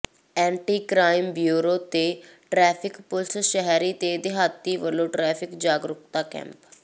anti crime bureau ਤੇ traffic police ਸ਼ਹਿਰੀ ਤੇ ਦਿਹਾਤੀ ਵਲੋਂ ਟੇੈ੍ਰਫਿਕ ਜਾਗਰੂਕਤਾ ਕੈਂਪ